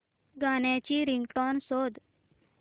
गाण्याची रिंगटोन शोध